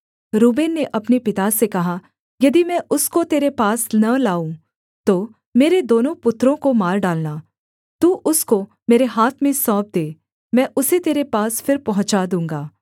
Reuben ने अपने पिता से कहा यदि मैं उसको तेरे पास न लाऊँ तो मेरे दोनों पुत्रों को मार डालना तू उसको मेरे हाथ में सौंप दे मैं उसे तेरे पास फिर पहुँचा दूँगा